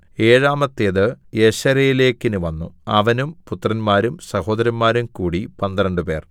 ഏഴാമത്തേത് യെശരേലെക്ക് വന്നു അവനും പുത്രന്മാരും സഹോദരന്മാരും കൂടി പന്ത്രണ്ടുപേർ